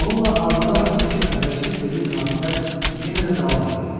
Onunla arvadı arasındakı əvvəlki sirli münasibət yenə də davam eləyirdi.